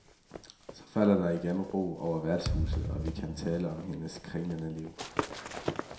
Så falder der igen ro over værtshuset, og vi kan tale om hendes kringlede liv.